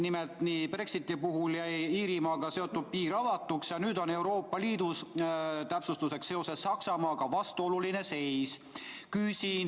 Nimelt, Brexiti puhul jäi Iirimaaga seotud piir avatuks ja nüüd on Euroopa Liidus seoses Saksamaaga vastuoluline seis.